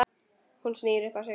Hún snýr upp á sig.